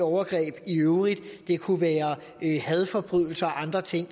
overgreb i øvrigt og det kunne være hadforbrydelser og andre ting